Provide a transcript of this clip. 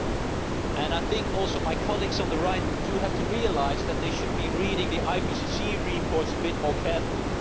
I also think that my colleagues on the right have to realise that they should be reading the IPCC reports a bit more carefully.